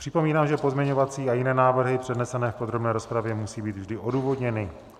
Připomínám, že pozměňovací a jiné návrhy přednesené v podrobné rozpravě, musí být vždy odůvodněny.